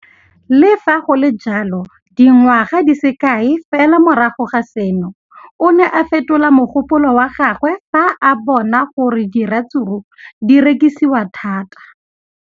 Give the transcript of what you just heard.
Le fa go le jalo, dingwaga di se kae fela morago ga seno, o ne a fetola mogopolo wa gagwe fa a bona gore diratsuru di rekisiwa thata.